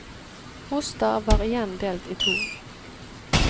Mostar var igjen delt i to.